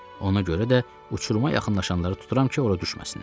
Ona görə də uçuruma yaxınlaşanları tuturam ki, ora düşməsinlər.